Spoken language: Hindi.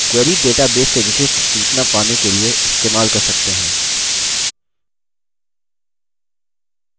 query database से विशिष्ट सूचना पाने के लिए इस्तेमाल कर सकते हैं